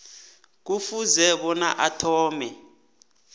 kufuze bona athome